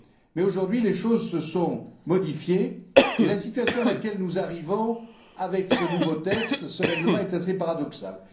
Mais aujourd'hui, les choses se sont modifiées et la situation à laquelle nous arrivons avec ce nouveau texte, ce règlement, est assez paradoxale.